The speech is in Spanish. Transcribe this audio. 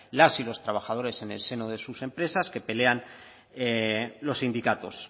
las y los trabajadores en el seno de sus empresas que pelean los sindicatos